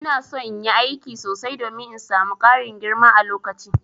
Ina son in yi aiki sosai domin in samu Karin girma a lokaci.